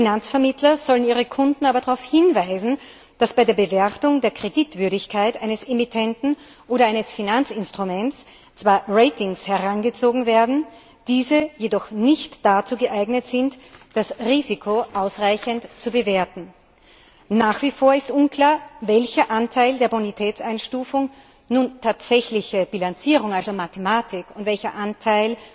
Finanzvermittler sollen ihre Kunden aber darauf hinweisen, dass bei der Bewertung der Kreditwürdigkeit eines Emittenten oder eines Finanzinstruments zwar Ratings herangezogen werden, diese jedoch nicht dazu geeignet sind, das Risiko ausreichend zu bewerten. Nach wie vor ist unklar, welcher Anteil der Bonitätseinstufung nun tatsächliche Bilanzierung, also Mathematik, und welcher Anteil